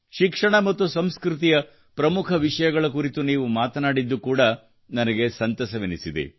ಶಿಕ್ಷಣ ಮತ್ತು ಸಂಸ್ಕೃತಿಯ ಪ್ರಮುಖ ವಿಷಯಗಳ ಕುರಿತು ನೀವು ಮಾತನಾಡಿದ್ದು ನನಗೆ ಕೂಡಾ ಸಂತಸವೆನಿಸಿದೆ